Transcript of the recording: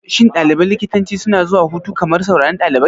Shin ɗaliban likitanci suna zuwa hutu kamar sauran ɗalibai?